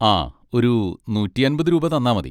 ആ ഒരു നൂറ്റിയമ്പത് രൂപ തന്നാ മതി.